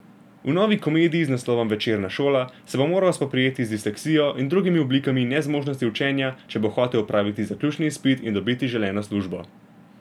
V novi komediji z naslovom Večerna šola se bo moral spoprijeti z disleksijo in drugimi oblikami nezmožnosti učenja, če bo hotel opraviti zaključni izpit in dobiti želeno službo.